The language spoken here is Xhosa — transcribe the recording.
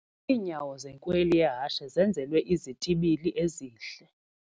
Iinyawo zenkweli yehashe zenzelwe izitibili ezihle.